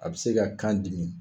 A bɛ se ka kan dimi